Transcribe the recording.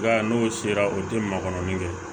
Nka n'o sera o tɛ makɔrɔni kɛ